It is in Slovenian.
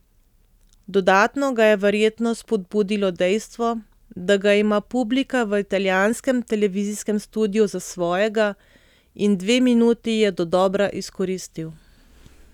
Dodatno ga je verjetno spodbudilo dejstvo, da ga ima publika v italijanskem televizijskem studiu za svojega, in dve minuti je dodobra izkoristil.